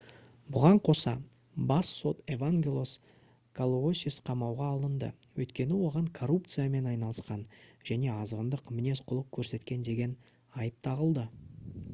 бұған қоса бас сот евангелос калоусис қамауға алынды өйткені оған коррупциямен айналысқан және азғындық мінез-құлық көрсеткен деген айып тағылды